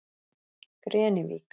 Grenivík